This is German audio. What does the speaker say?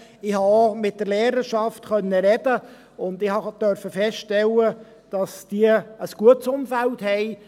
Ich konnte auch mit der Lehrerschaft sprechen und durfte feststellen, dass diese ein gutes Umfeld hat.